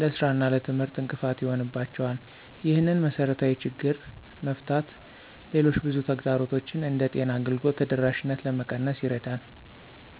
ለሥራ እና ለትምህርት እንቅፋት ይሆንባቸዋል። ይህንን መሰረታዊ ችግር መፍታት ሌሎች ብዙ ተግዳሮቶችን እንደ ጤና አገልግሎት ተደራሽነት ለመቀነስ ይረዳል።